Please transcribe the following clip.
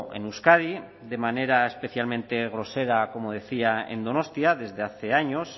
en euskadi de manera especialmente grosera como decía en donostia desde hace años